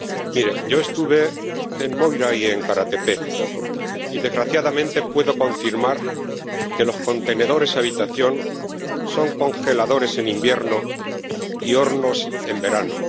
Mire, yo estuve en Moira y en Kara Tepe y, desgraciadamente, puedo confirmar que los contenedores habitación son congeladores en invierno y hornos en verano.